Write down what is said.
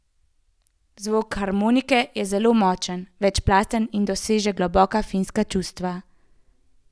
Zvok harmonike je zelo močen, večplasten in doseže globoka finska čustva.